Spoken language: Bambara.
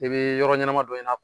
I bi yɔrɔ ɲɛnama dɔ ɲini